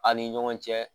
An ni ɲɔgɔn cɛ